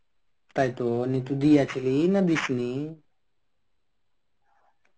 তাইতো নিয়ে তুই দিয়াছিলি কি না দিসনি